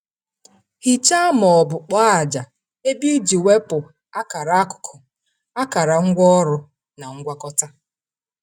Hichaa ma ọ bụ kpọọ ájá ebe iji wepụ akara akụkụ, akara ngwaọrụ, na ngwakọta.